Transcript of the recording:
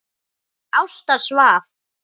Ásta svaf.